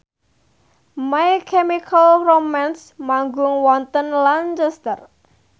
My Chemical Romance manggung wonten Lancaster